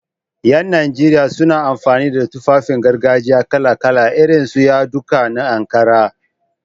Ƴan najeriya suna amfani da Tufafin gargajiya kala-kala, irin su yadudduka na Ankara.